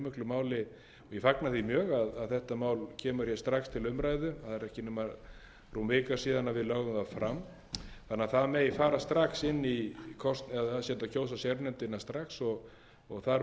að þetta mál kemur strax til umræðu það er ekki nema rúm vika síðan við lögðum það fram þannig að það megi fara strax inn í eða það sé hægt að kjósa sérnefndina strax og þar með að byrja að